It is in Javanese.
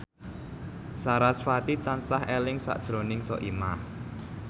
sarasvati tansah eling sakjroning Soimah